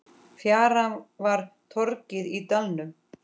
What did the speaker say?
Fjaran var torgið í dalnum.